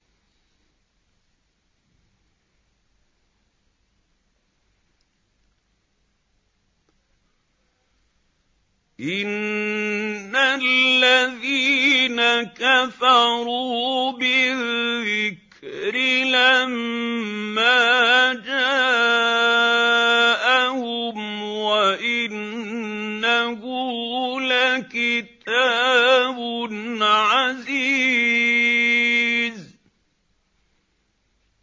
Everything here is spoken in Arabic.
إِنَّ الَّذِينَ كَفَرُوا بِالذِّكْرِ لَمَّا جَاءَهُمْ ۖ وَإِنَّهُ لَكِتَابٌ عَزِيزٌ